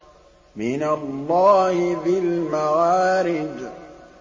مِّنَ اللَّهِ ذِي الْمَعَارِجِ